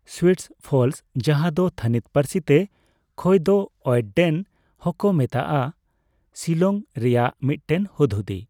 Sweets ᱯᱷᱚᱞᱥ, ᱡᱟᱦᱟᱸ ᱫᱚ ᱛᱷᱟᱹᱱᱤᱛ ᱯᱟᱹᱨᱥᱤᱛᱮ ᱠᱷᱚᱭᱫᱚ ᱳᱭᱮᱴᱰᱮᱱ ᱦᱚᱸᱠᱚ ᱢᱮᱛᱟᱜᱼᱟ, ᱥᱤᱞᱚᱝ ᱨᱮᱭᱟᱜ ᱢᱤᱫᱴᱮᱱ ᱦᱩᱫᱦᱩᱫᱤ ᱾